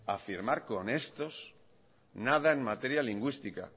a firmar con estos nada en materia lingüística